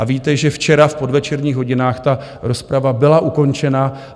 A víte, že včera v podvečerních hodinách ta rozprava byla ukončena.